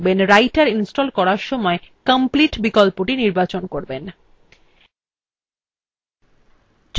মনে রাখবেন writer install করার সময় complete বিকল্পটি নির্বাচন করবেন